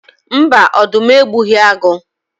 Mba, ọdụm egbughi agụ